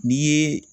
N'i ye